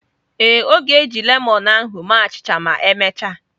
Ee, ọ ga-eji lemon ahu mee achịcha ma emechaa.